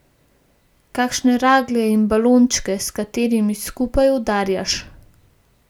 Kakšne raglje in balončke, s katerimi skupaj udarjaš.